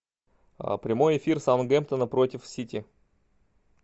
прямой эфир саутгемптона против сити